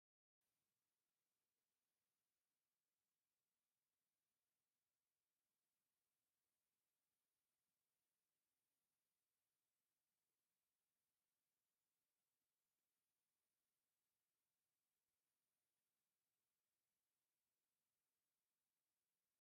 ብድሙቕ ብጫ ዝተመልአ ዘመናዊ ክሽነ እዩ። ጽሩይን ውቁብን ፍቑር ኣቀማምጣ ዘለዎን ኮይኑ፡ እቲ ብርሃን ድማ ተስፋ ዝህብ ይመስል። እውይ...ትምኒተይ ከምዚኣ ዝበለት ክቺን ካብኔት ከስርሕ እዩ...ደስ ክትብል...